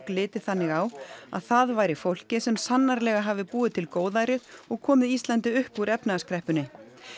liti þannig á að það væri fólkið sem sannarlega hafi búið til góðærið og komið Íslandi upp úr efnahagskreppunni